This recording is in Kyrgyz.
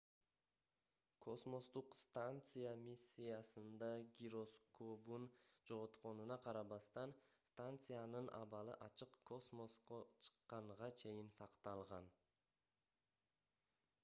космостук станция миссиясында гироскобун жоготконуна карабастан станциянын абалы ачык космоско чыкканга чейин cакталган